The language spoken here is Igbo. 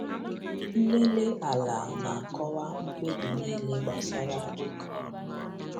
Nlele ala na-akọwa mkpebi niile gbasara ịkụ ihe.